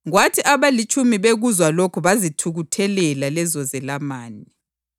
Kwathi abalitshumi bekuzwa lokhu bazithukuthelela lezozelamani.